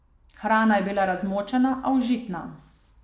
Hrana je bila razmočena, a užitna.